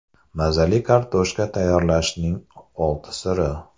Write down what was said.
Mazali kartoshka tayyorlashning olti siri.